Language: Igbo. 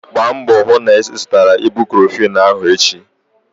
Gbaa mbọ hụ na ị zụtara ibucrofen ahụ echi!